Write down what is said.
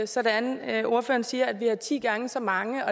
sådan at ordføreren siger at vi har ti gange så mange